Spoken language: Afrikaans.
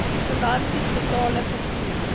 finansies metale vervoer